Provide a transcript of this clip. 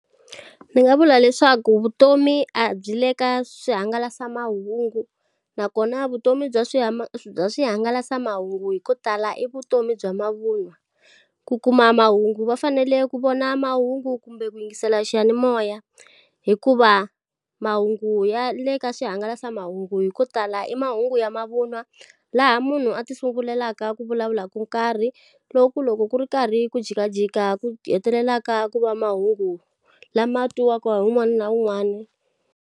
Ni nga vula leswaku vutomi a byi le ka swihangalasamahungu. Nakona vutomi bya swi ma bya swihangalasamahungu hi ko tala i vutomi bya mavunwa. Ku kuma mahungu va fanele ku vona mahungu kumbe ku yingisela xiyanimoya hikuva mahungu ya le ka swihangalasamahungu hi ko tala i mahungu ya mavun'wa, laha munhu a ti sungulelaka ku vulavula ko nkarhi, lo ku loko ku ri karhi ku jikajika ku hetelelaka ku va mahungu lama twiwaka hi wun'wana na wun'wana.